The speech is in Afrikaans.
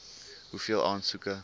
hoeveel aansoeke